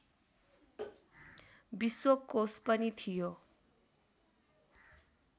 विश्वकोश पनि थियो